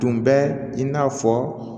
Tun bɛ i n'a fɔ